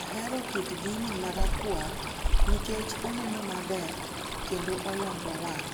Ahero kit gini marakwar nikech oneno maber, kendo olombo wang' ,